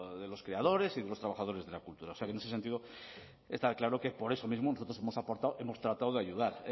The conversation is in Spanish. de los creadores y de los trabajadores de la cultura en ese sentido está claro que por eso mismo nosotros hemos aportado hemos tratado de ayudar